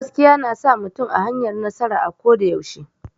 Gaskiya na sa mutum a hanyar nasara a ko da yaushe.